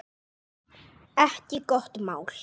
Ekki gott mál.